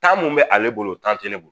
Taa mun bɛ ale bolo o tan tɛ ne bolo